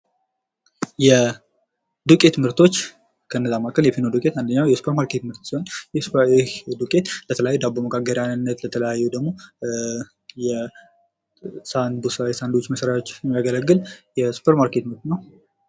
የዱቄት ምርቶች ከነዚያ መካከል የፊኖ ዱቄት አንዱ የሱፐር ማርኬት ምርት ሲሆን ይህ ዱቄት ለተለያዩ ዳቦ መጋገሪያነት ለተለያዩ ደግሞ ሳንድዊች የሳንድዊች መስሪዎች የሚያገለግል የሱፐር ማርኬት ምርት ነው።